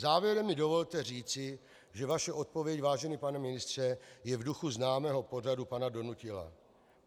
Závěrem mi dovolte říci, že vaše odpověď, vážený pane ministře, je v duchu známého pořadu pana Donutila.